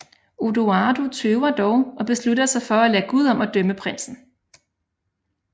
Odoardo tøver dog og beslutter sig for at lade Gud om at dømme prinsen